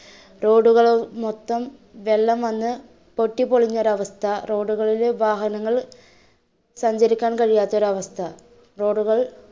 road കൾ മൊത്തം വെള്ളം വന്ന് പൊട്ടിപൊളിഞ്ഞ ഒരു അവസ്ഥ road കളിൽ വാഹനങ്ങൾ സഞ്ചരിക്കാൻ കഴിയാത്ത അവസ്ഥ, road കൾ